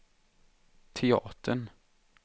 teatern